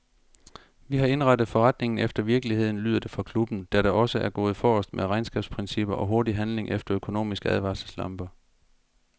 Vi har indrettet forretningen efter virkeligheden, lyder det fra klubben, der da også er gået forrest med regnskabsprincipper og hurtig handling efter økonomiske advarselslamper.